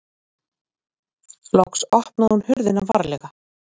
Loks opnaði hún hurðina varlega.